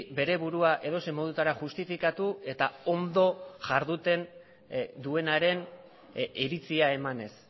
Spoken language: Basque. bere burua edozein modutara justifikatu eta ondo jarduten duenaren iritzia emanez